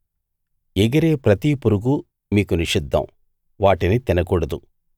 ఎగిరే ప్రతి పురుగూ మీకు నిషిద్ధం వాటిని తినకూడదు